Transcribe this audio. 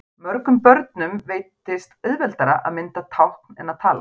Mörgum börnum veitist auðveldara að mynda tákn en að tala.